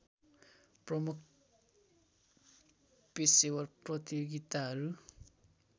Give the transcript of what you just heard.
प्रमुख पेशेवर प्रतियोगिताहरू